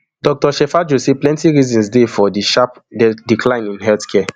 dr shejafo say plenti reasons dey for di sharp decline in healthcare